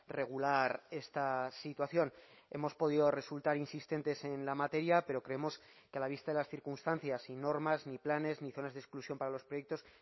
regular esta situación hemos podido resultar insistentes en la materia pero creemos que a la vista de las circunstancias y normas ni planes ni zonas de exclusión para los proyectos